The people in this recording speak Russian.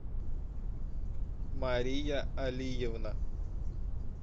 мария алиевна